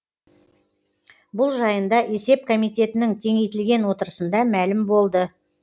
бұл жайында есеп комитетінің кеңейтілген отырысында мәлім болды